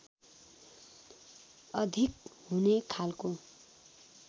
अधिक हुने खालको